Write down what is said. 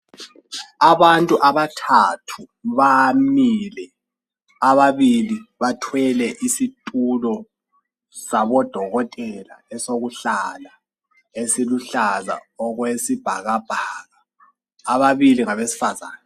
Abantu abathathu bamile. Ababili babo, ngabesifazana. Owesilisa lowesifazana, babambisane isitulo sikadokotela, esiluhlaza okwesibhakabhaka.